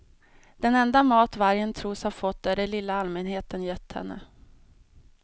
Den enda mat vargen tros ha fått är det lilla allmänheten gett henne.